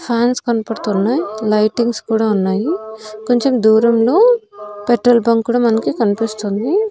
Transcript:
Fans కనపడుతున్నాయ్ lightings కూడా ఉన్నాయి కొంచెం దూరంలో పెట్రోల్ బంక్ కూడా మనకి కనిపిస్తుంది.